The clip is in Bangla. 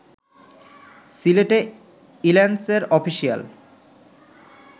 সিলেটে ইল্যান্সের অফিসিয়াল